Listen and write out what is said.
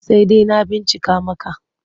Sai dai na bincika maka.